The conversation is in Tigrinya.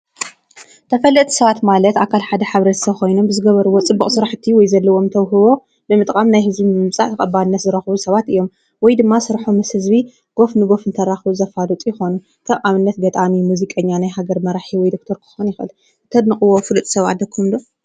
ተፈለጢቲ ሰባት ማለት ኣካል ሓደ ማሕብረተሰብ ኮይኑ ብዝገበርሞ ፅቡቅ ስራሕቲ ወይ ዘለዎም ተውህቦ ብምጥቃም ናብ ህዝቢ ብምምፃእ ተቀባሊነት ዝረክቡ ሰባት እዮም። ወይድማ ስርሖም ምስ ህዝቢ ጎፍንጎፍ ዝተራከቡ ዘፋልጡ ይኮኑ ።ከም ንኣብነት ገጣሚ፣ ሙዚቀኛ ፣ናይ ሃገር መራሒ ወይ ዶክተር ክከውን ይክእል። ተድንቅዎ ፍሉጥ ሰብ ኣለኩም ዶ?